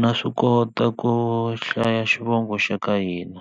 Na swi kota ku hlaya xivongo xa ka hina